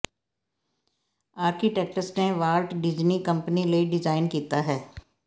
architects ਨੇ Walt Disney company ਲਈ design ਕੀਤਾ ਹੈ